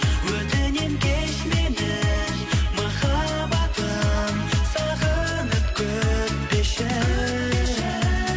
өтінемін кеш мені махаббатым сағынып күтпеші